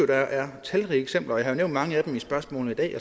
der er talrige eksempler og jeg har nævnt mange af dem i spørgsmål i dag